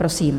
Prosím.